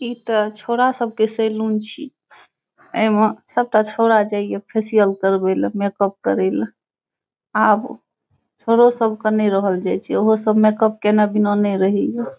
इ ते छोड़ा सब के सैलून छी ए मे सबटा छोड़ा जाय ये फेशियल करवे ले मेकअप करे ले आब छोड़ो सब के ने रहल जाय छै। ऊहो सब मेकअप कने बिना ने रहे ये।